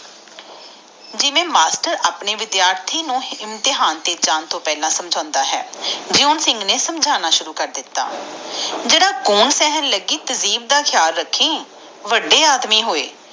ਜਿਵੇਂ ਮਾਸਟਰ ਆਪਣੇ ਵਿਧਯਾਰਦੀ ਨੂੰ ਇਮਤਿਹਾਨ ਤੇ ਜਾਨ ਲਗਾ ਸਮਝਣਦਾ ਆ ਓਵੇਂ ਜੂਨ ਸਿੰਘ ਇੰਟਰ ਕੌਰ ਨੂੰ ਸਮਝਣਾ ਸ਼ੁਰੂ ਕਰ ਦਿਤਾ ਕਹਿੰਦਾ ਜਰਾ ਗਨ ਸਹਿਣ ਲਗਾਏ ਤਹਿਜੀਬ ਤਾ ਧਯਾਨ ਰੱਖੀ ਵਾਦੇ ਆਦਮੀ ਜੋ ਹੋਏ